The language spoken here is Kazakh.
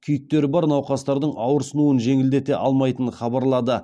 күйіктері бар науқастардың ауырсынуын жеңілдете алмайтынын хабарлады